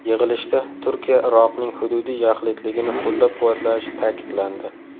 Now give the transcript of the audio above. Yig‘ilishda Turkiya Iroqning hududiy yaxlitligini qo‘llab-quvvatlashi ta’kidlandi.